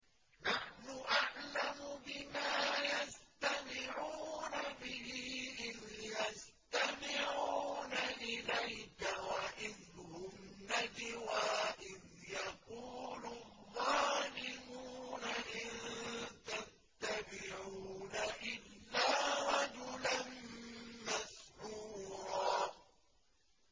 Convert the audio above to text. نَّحْنُ أَعْلَمُ بِمَا يَسْتَمِعُونَ بِهِ إِذْ يَسْتَمِعُونَ إِلَيْكَ وَإِذْ هُمْ نَجْوَىٰ إِذْ يَقُولُ الظَّالِمُونَ إِن تَتَّبِعُونَ إِلَّا رَجُلًا مَّسْحُورًا